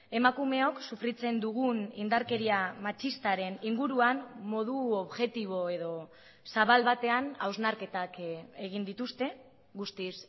emakumeok sufritzen dugun indarkeria matxistaren inguruan modu objektibo edo zabal batean hausnarketak egin dituzte guztiz